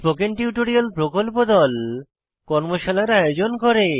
spoken tutorial প্রকল্প দল কর্মশালার আয়োজন করে